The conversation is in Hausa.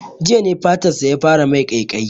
Jiya ne fatan sa ya fara mai ƙaiƙayi